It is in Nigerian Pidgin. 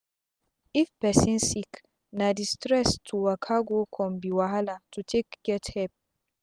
if pesin sick na d stress to waka go come be wahala to take get epp